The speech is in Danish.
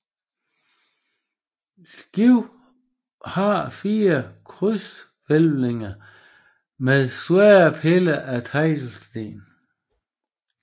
Skibet har 4 krydshvælvinger med svære piller af teglsten